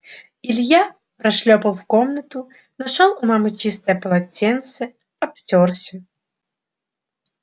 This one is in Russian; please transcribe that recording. илья прошлёпал в комнату нашёл у мамы чистое полотенце обтёрся